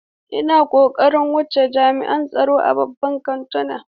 Ina kokarin wuce jami'in tsaro a babban kantuna.